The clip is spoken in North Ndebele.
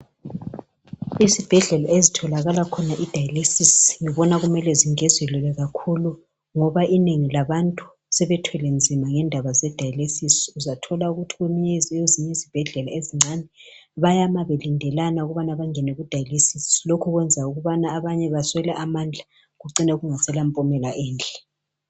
izibhedlela ezitholakala khona iDialysis ngibona kumele zingezelwelwe kakhulu ngoba inengi labantu sebethwele nzima ngendaba zedialys uzathola ukuthi kwezinye izibhedlela ezincane bayama belindelana ukubana bangene kuDialyisis lokho kuyenza abanye baswele amandla kucine kungasela mpumela enhle